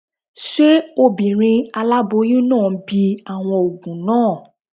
Ṣé obìnrin aláboyún náà ń bi àwọn òògùn náà?